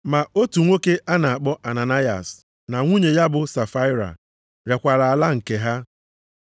Ma otu nwoke a na-akpọ Ananayas na nwunye ya bụ Safaịra rekwara ala nke ha.